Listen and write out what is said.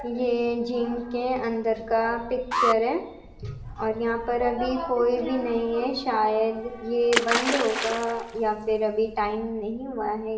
ये जिम के अंदर का पिक्चर है और यहां पर अभी कोई भी नहीं है शायद ये बंद होगा या फिर अभी टाइम नहीं हुआ है।